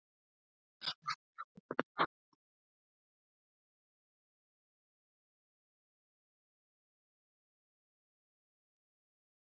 Systir mín sá um Júlíu þegar ég kom ekki heim, stundum sólarhringum saman.